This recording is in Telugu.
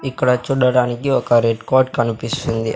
ఇక్కడ చూడడానికి ఒక రెడ్ కాట్ కనిపిస్తుంది.